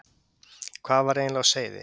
Hvað var eiginlega á seyði?